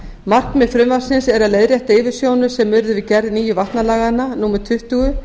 markmið frumvarpsins er að leiðrétta yfirsjónir sem urðu við gerð nýju vatnalaganna númer tuttugu